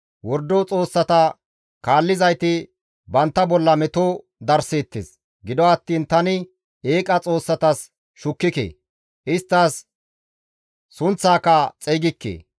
Wordo xoossata kaallizayti bantta bolla meto darseettes. Gido attiin tani eeqa xoossatas shukkike; isttas sunththaaka xeygikke.